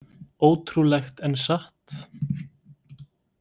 Ótrúlegt en satt?